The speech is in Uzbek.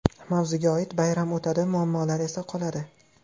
Mavzuga oid: Bayram o‘tadi, muammolar esa qoladi.